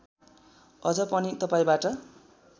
अझ पनि तपाईँबाट